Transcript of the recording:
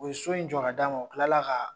U ye so in jɔ' ka d'a ma o tilala ka